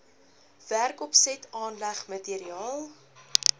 werkopset aanleg materiaal